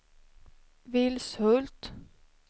Vilshult